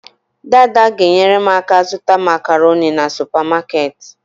Daada g'enyere m aka zuta macaroni na supamaketi